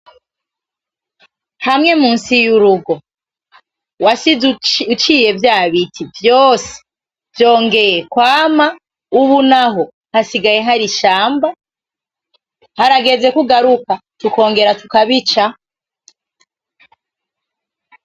Hamwe munsi y'urugo wasize uciye vyabiti vyose vyongeye kwama ubunaho hasigaye hari ishamba haragezeko ugaruka tukongera tukabica.